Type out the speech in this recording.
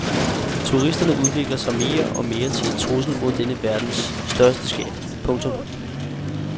Turisterne udvikler sig mere og mere til en trussel mod denne verdens største skatte. punktum